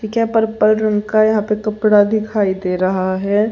ये क्या पर्पल रंग का यहां पे कपड़ा दिखाई दे रहा है।